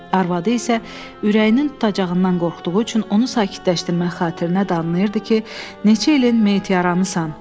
Arvadı isə ürəyinin tutacağından qorxduğu üçün onu sakitləşdirmək xatirinə danlayırdı ki, neçə ilin meyit yaramısan.